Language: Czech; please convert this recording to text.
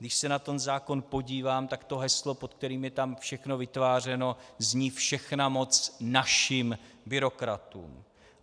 Když se na ten zákon podívám, tak to heslo, pod kterým je tam všechno vytvářeno, zní: Všechna moc našim byrokratům.